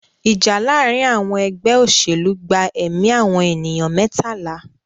Ìjà láàárín àwọn ẹgbẹ́ òṣèlú gba ẹ̀mí àwọn ènìyàn mẹ́tàlá.